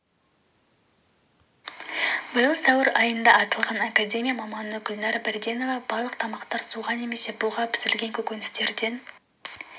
биыл сәуір айында аталған академия маманы гүлнәр берденова барлық тамақтар суға немесе буға пісірілген көкөністерден